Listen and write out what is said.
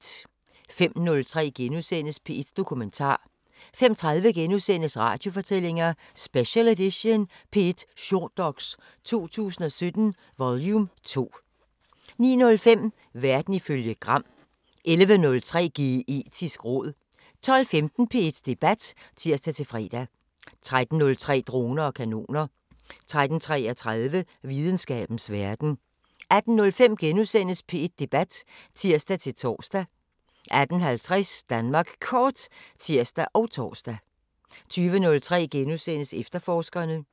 05:03: P1 Dokumentar * 05:30: Radiofortællinger: Special edition – P1 Shortdox 2017 vol 2 * 09:05: Verden ifølge Gram 11:03: Geetisk råd 12:15: P1 Debat (tir-fre) 13:03: Droner og kanoner 13:33: Videnskabens Verden 18:05: P1 Debat *(tir-tor) 18:50: Danmark Kort (tir og tor) 20:03: Efterforskerne *